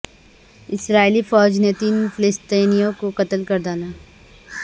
اسرائیلی فوج نے تین فلسطینیوں کو قتل کر ڈالا